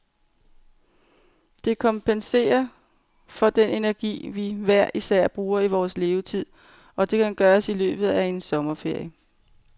Det kompenserer for den energi, vi hver især bruger i vores levetid, og det kan gøres i løbet af en sommerferie.